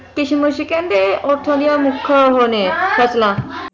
ਕਿਸ਼ਮਿਸ਼ ਕਹਿੰਦੇ ਉਹ ਉੱਥੋਂ ਦੀਆਂ ਮੁੱਖ ਉਹ ਨੇ ਫਸਲਾਂ